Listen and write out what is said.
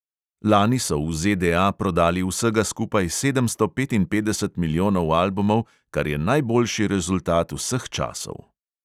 Lani so v ZDA prodali vsega skupaj sedemsto petinpetdeset milijonov albumov, kar je najboljši rezultat vseh časov.